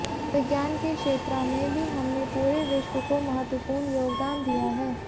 विज्ञान के क्षेत्रा में भी हमने पूरे विश्व को महत्वपूर्ण योगदान दिया है